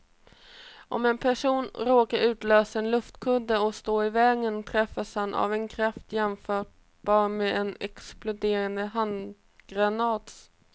Om en person råkar utlösa en luftkudde och står i vägen träffas han av en kraft jämförbar med en exploderande handgranats.